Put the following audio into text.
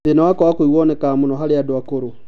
Thĩna wa kwaga kũigua nĩwonekaga mũno harĩ andũ akũrũ